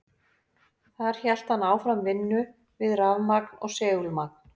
Þar hélt hann áfram vinnu við rafmagn og segulmagn.